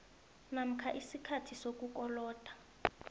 namkha isikhathi sokukoloda